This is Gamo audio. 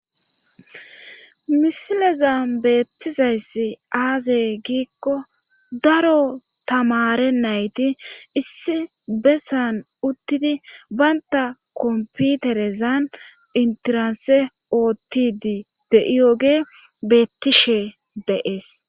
misilezan beettizayssi aaze giikko daro tamare nayti issi bessan uttidi banta komputerezan intiranse oottidi de'iyoge beettishe de'ees